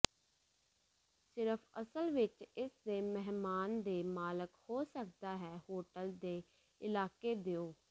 ਸਿਰਫ ਅਸਲ ਵਿੱਚ ਇਸ ਦੇ ਮਹਿਮਾਨ ਦੇ ਮਾਲਕ ਹੋ ਸਕਦਾ ਹੈ ਹੋਟਲ ਦੇ ਇਲਾਕੇ ਦਿਓ